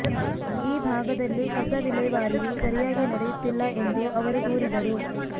ಈ ಭಾಗದಲ್ಲಿ ಕಸ ವಿಲೇವಾರಿಯೂ ಸರಿಯಾಗಿ ನಡೆಯುತ್ತಿಲ್ಲ ಎಂದು ಅವರು ದೂರಿದರು